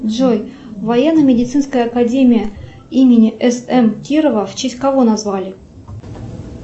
джой военно медицинская академия имени с м кирова в честь кого назвали